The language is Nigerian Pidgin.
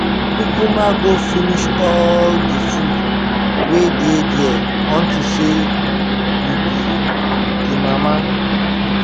kukuma go finish all the food wey dey there unto say you be the mama